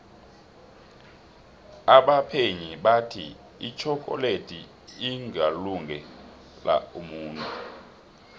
abaphenyi bathi itjhokoledi ingalunge la umuntu